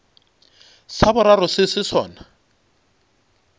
sa boraro se se sona